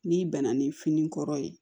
N'i bɛna ni fini kɔrɔ ye